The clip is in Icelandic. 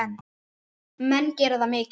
Menn gera það mikið.